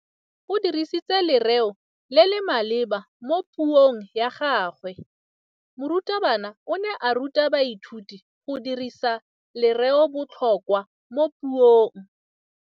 O dirisitse lerêo le le maleba mo puông ya gagwe. Morutabana o ne a ruta baithuti go dirisa lêrêôbotlhôkwa mo puong.